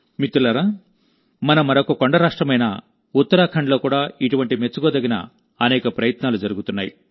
మిత్రులారామనమరొక కొండరాష్ట్రమైన ఉత్తరాఖండ్లో కూడా ఇటువంటి మెచ్చుకోదగిన అనేక ప్రయత్నాలు జరుగుతున్నాయి